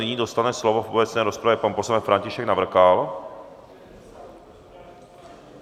Nyní dostane slovo v obecné rozpravě pan poslanec František Navrkal.